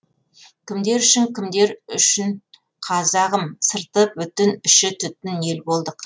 кімдер үшін кімдер үшін қазағым сырты бүтін іші түтін ел болдық